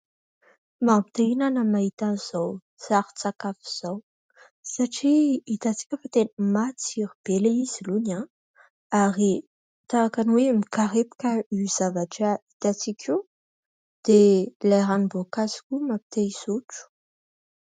Mampi-te hihinana ny mahita an'izao sarin-tsakafo izao satria hitantsika fa tena matsiro be ilay izy alohany ary tahaka ny hoe mikarepoka io zavatra hitantsika io dia ilay ranom-boankazo koa mampi-te hisotro.